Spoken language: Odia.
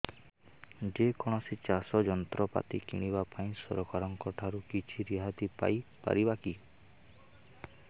ଯେ କୌଣସି ଚାଷ ଯନ୍ତ୍ରପାତି କିଣିବା ପାଇଁ ସରକାରଙ୍କ ଠାରୁ କିଛି ରିହାତି ପାଇ ପାରିବା କି